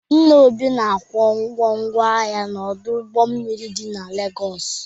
Nna Obi na-akwụ ụgwọ ngwa ahịa n'ọdụ ụgbọ mmiri dị na Legọsị.